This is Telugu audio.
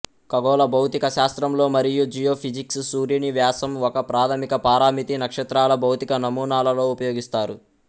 ఖగోళ భౌతిక శాస్త్రంలో మరియు జియోఫిజిక్స్ సూర్యుని వ్యాసం ఒక ప్రాథమిక పారామితి నక్షత్రాల భౌతిక నమూనాలలో ఉపయోగిస్తారు